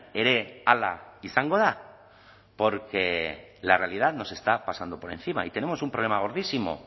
ere hala izango da porque la realidad nos está pasando por encima y tenemos un problema gordísimo